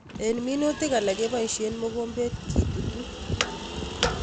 Eng' minutik alak kepoishe mogombet ketutu